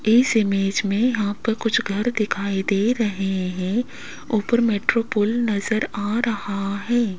इस इमेज में यहां पे कुछ घर दिखाई दे रहे हैं ऊपर मेट्रो पुल नज़र आ रहा है।